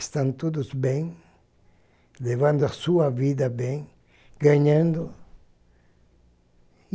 Estão todos bem, levando a sua vida bem, ganhando.